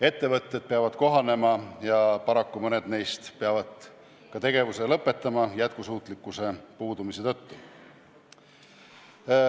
Ettevõtted peavad kohanema ja paraku mõned neist peavad isegi tegevuse lõpetama jätkusuutlikkuse puudumise tõttu.